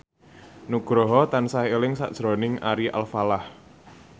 Nugroho tansah eling sakjroning Ari Alfalah